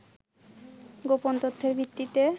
গোপন তথ্যের ভিত্তিতে